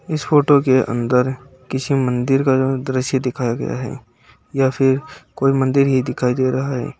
इस फोटो के अंदर किसी मंदिर का दृश्य दिखाया गया है या फिर कोई मंदिर ही दिखाई दे रहा है।